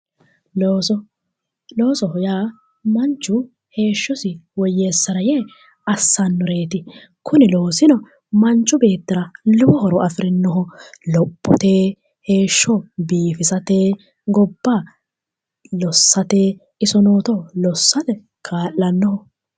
Looso loosoho yaa manchu heeshshosi woyyeessara yee assannoreeti kuni loosino manchu beettira lowo horo afirinoho lophote heeshsho biifisate gobba lossate isonooto lossate kaa'lanno